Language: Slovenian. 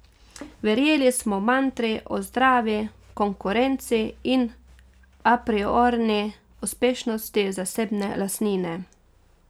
Verjeli smo mantri o zdravi konkurenci in apriorni uspešnosti zasebne lastnine.